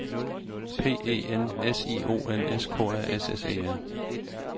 P E N S I O N S K A S S E R